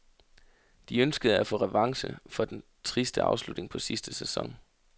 De ønskede at få revanche for den triste afslutning på sidste sæson.